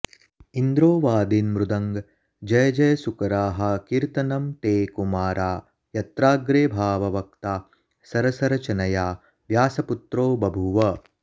इन्द्रोऽवादीन्मृदङ्गं जयजयसुकराः कीर्तनं ते कुमारा यत्राग्रे भाववक्ता सरसरचनया व्यासपुत्रो बभूव